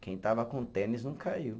Quem estava com tênis, não caiu.